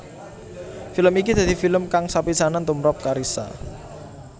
Film iki dadi film kang sepisanan tumprap Carissa